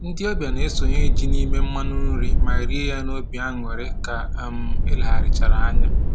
Ndị ọbịa na-esonye ji n'ime mmanụ nri ma rie ya n'obi aṅụrị ka um e legharịchara anya